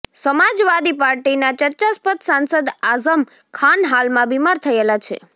સમાજવાદી પાર્ટીના ચર્ચાસ્પદ સાંસદ આઝમ ખાન હાલમાં બિમાર થયેલા છે